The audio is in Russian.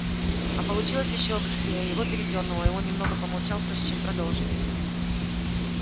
а получилось ещё быстрее его передёрнуло и он немного помолчал прежде чем продолжить